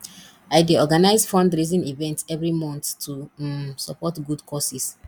i dey organize fundraising events every month to um support good causes